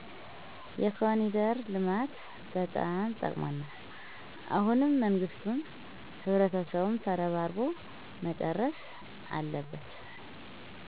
የኮኒደር ልማት በጣም ጠቅሞናል። አሁንም መንግስቱም ህብረተሰቡም ተረባርቦ መጨረስ አለበት